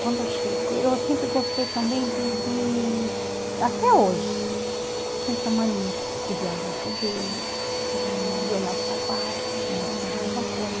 Quando eu cheguei, eu sempre gostei também de de... Até hoje, tenho essa mania de ver a bolsa dele, de de olhar os sapatos, se não esconde alguma coisa.